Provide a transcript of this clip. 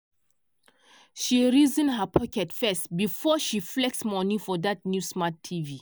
she reason her pocket first before she flex money for that new smart tv.